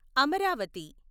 Amaravati